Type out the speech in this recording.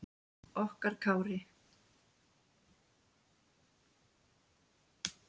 Okkar Kári.